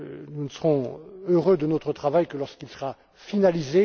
nous ne serons heureux de notre travail que lorsqu'il sera finalisé.